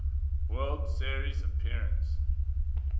world series appearance